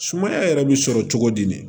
Sumaya yɛrɛ bi sɔrɔ cogo di